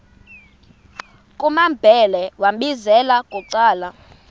kumambhele wambizela bucala